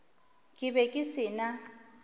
ke be ke se na